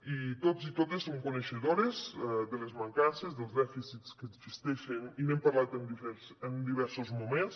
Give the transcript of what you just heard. i tots i totes som coneixedores de les mancances dels dèficits que existeixen i n’hem parlat en diversos moments